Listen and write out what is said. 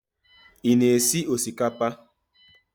Ị-na esi osikapa?